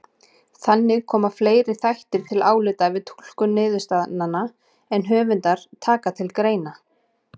Þannig koma fleiri þættir til álita við túlkun niðurstaðnanna en höfundar taka til greina.